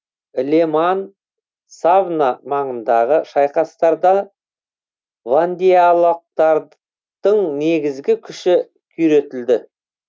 ле ман савна маңындағы шайқастарда вандеялықтардың негізгі күші күйретілді